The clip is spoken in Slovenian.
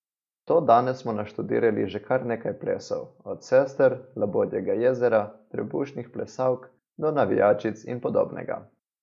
Do danes smo naštudirali že kar nekaj plesov, od Sester, labodjega jezera, trebušnih plesalk do navijačic in podobnega.